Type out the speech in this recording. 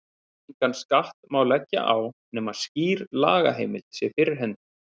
Engan skatt má leggja á nema skýr lagaheimild sé fyrir hendi.